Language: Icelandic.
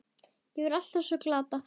Þetta var allt svo glatað.